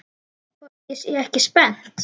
Hvort ég sé ekki spennt?